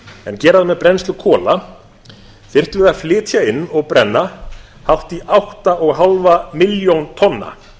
en gera það með brennslu kola þyrftum við að flytja inn og brenna hátt í áttatíu og fimm milljónir tonna